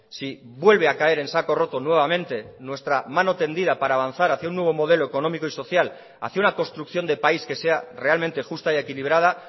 si vuelve a caer en saco roto nuevamente nuestra mano tendida para avanzar hacia un nuevo modelo económico y social hacia una construcción de país que sea realmente justa y equilibrada